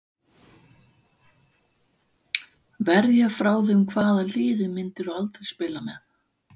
Verja frá þeim Hvaða liði myndir þú aldrei spila með?